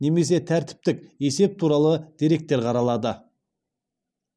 немесе тәртіптік есеп туралы деректер қаралады